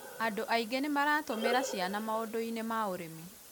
andũ aingĩ nĩ maratumira ciana maũndũ-inĩ ma ũrĩmi